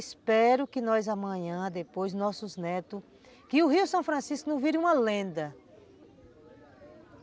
Espero que nós amanhã, depois, nossos netos... Que o Rio São Francisco não vire uma lenda.